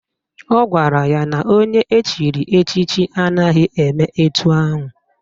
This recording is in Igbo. Ọ gwara ya na onye echiri echichi anaghị eme etu ahụ